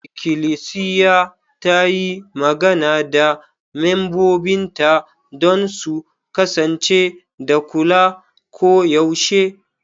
Ikilisiya ta yi magana da membobinta don su kasance da kula koyaushe.